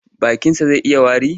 Bakinsa zai yi wari.